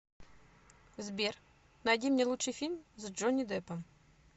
сбер найди мне лучший фильм с джонни деппом